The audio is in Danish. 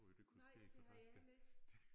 Nej det havde jeg heller ikke